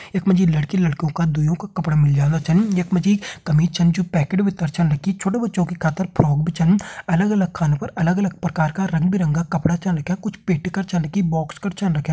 यक मजी लड़की लड़को का दुइयों का कपड़ा मिल जांदा छन। यक मजी कमीज छन जो पैकेट भित्तर छन रखी। छोटो बच्चों की खातिर फ्रॉक भी छन। अलग अलग खानो पर अलग अलग परकार का रंग बिरंगा कपड़ा चन रख्या। कुछ पेटी कर चन रखी बॉक्स कर चन रख्या।